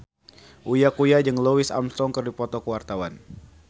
Uya Kuya jeung Louis Armstrong keur dipoto ku wartawan